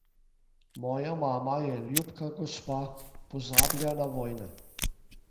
Moja mama je ljubka gospa, pozablja na vojne.